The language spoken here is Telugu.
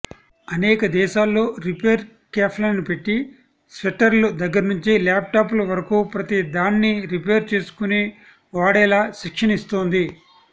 అనేక దేశాల్లో రిపేరు కేఫ్లని పెట్టి స్వెట్టర్ల దగ్గర నుంచి ల్యాప్టాప్ల వరకూ ప్రతిదాన్ని రిపేరు చేసుకుని వాడేలా శిక్షణనిస్తోంది